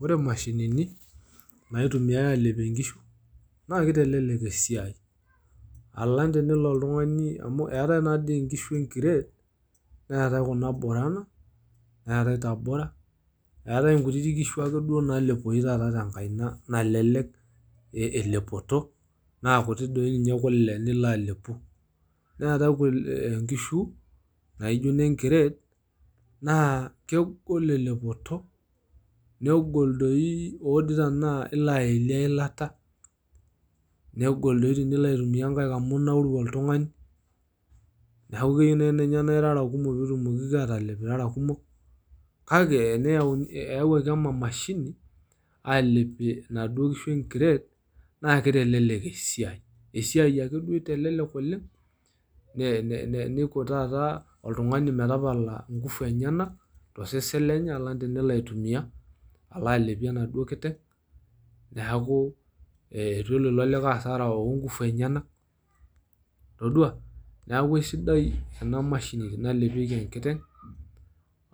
ore imashinini naitumiae alepie nkishu naa kitelelek esiai alang tenelo otungani amau eetae naadii nkishu enkired neetae kuna borana neetae gabura eetae nkutiti kishu akeduoo nalepoyu tenkaina elelek elepoto na kuti doi ninye kule nilo alepu .naa keku inkishu naijo ine nkired naa kegol elepoto naa odii nai tenaa aelie eilata ,negol doi tenilo aitumia nkaik amu inauru oltungani .neaku keyieu ninye nai naa irara kumok pitumokiki atalep irara kumok , kake eyawuaki ena mashini alepie inaduoo kishu enkired naa kitelelek esiai. esiai ake duo itelelek oleng ne ne neiko taata oltungani metapala nkufu enyenak tosesen lenye alang tenelo aitumia alo alepie enaduoo kiteng neku eitu ilo likae hasara oonkufu enyenak, toduaa!.neaku esidai ena mashini nalepieki enkiteng